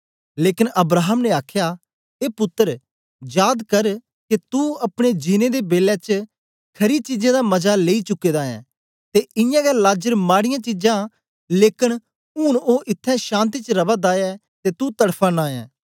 लेकन अब्राहम ने आखया ए पुत्तर जाद कर के तू अपने जीनें दे बेलै च खरी चीजें दा मजा लेई चुके दा ऐं ते इयां गै लाजर माडियां चीजां लेकन ऊन ओ इत्थैं शान्ति च रवा दा ऐ ते तू तड़फा नां ऐ